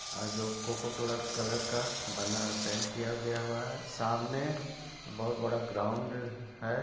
आ जो Coca Cola colour का बना है पेंट किया गया हुआ है सामने बहुत बड़ा ग्राउंड ह है।